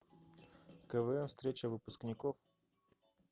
квн встреча выпускников